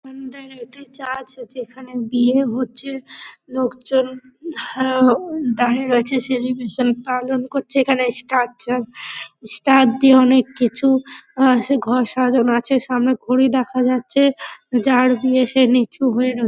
অন্ডালে একটি চার্চ আছে এখানে বিয়ে হচ্ছে লোকজন হ্যা ও দাঁড়িয়ে রয়েছে সেলিব্রেশন পালন করছে এখানে স্টার জন স্টার দিয়ে অনেক কিছু আহ সে ঘর সাজানো আছে। সামনে ঘড়ি দেখা যাচ্ছে । যার বিয়ে সে নিচু হয়ে রয়ে--